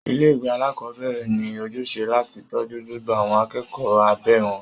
Ilé ìwé alákọ̀berẹ̀ ní ojúṣe láti tọ́jú gbogbo àwọn akẹ́kọ̀ọ́ abẹ́ wọn.